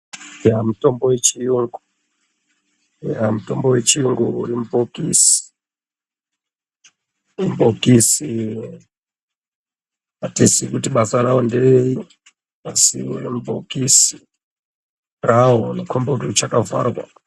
Yaa mutombo wechiyungu, yaa mutombo wechiyungu uri mubhokisi .Mubhokisi atiziyi kuti basa rawo ngereyi, asi uchiri mubhokisi unokhomba kuti uchakavharwa.